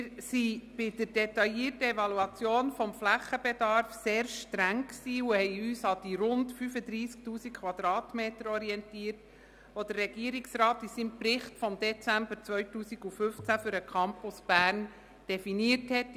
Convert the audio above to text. Wir waren bei der detaillierten Evaluation des Flächenbedarfs sehr streng und orientierten uns an den rund 35 000 Quadratmetern, die der Regierungsrat in seinem Bericht vom Dezember 2015 für den Campus Bern definiert hatte.